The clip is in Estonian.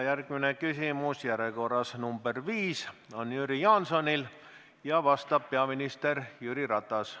Järgmine küsimus, järjekorras nr 5, on Jüri Jaansonil ja vastab peaminister Jüri Ratas.